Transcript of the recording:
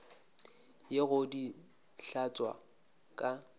ye go di hlatswa ka